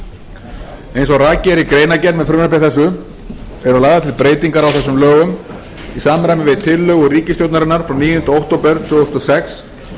breytingum eins og rakið er í greinargerð með frumvarpi þessu eru lagðar til breytingar á þessum lögum í samræmi við tillögur ríkisstjórnarinnar frá níunda október tvö þúsund og sex